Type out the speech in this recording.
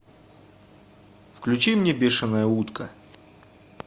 включи мне бешеная утка